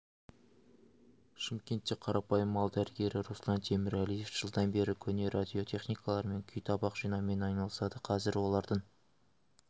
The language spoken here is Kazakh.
шымкентте қарапайым мал дәрігері руслан темірәлиев жылдан бері көне радиотехникалар мен күйтабақ жинаумен айналысады қазір олардың